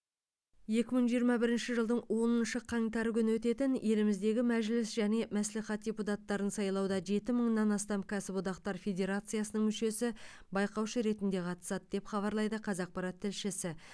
екі мың жиырма бірінші жылдың оныншы қаңтар күні өтетін еліміздегі мәжіліс және мәслихат депутаттарын сайлауда жеті мыңнан астам кәсіодақтар федерациясының мүшесі байқаушы ретінде қатысады деп хабарлайды қазақпарат тілшісі